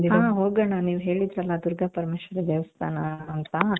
ಹ್ಮ್ ಹೋಗಣ ನೀವ್ ಹೇಳಿದ್ರಲ್ಲ ದುರ್ಗಾಪರಮೇಶ್ವರಿ ದೇವಸ್ಥಾನ ಅಂತ.